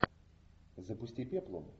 запусти пеплум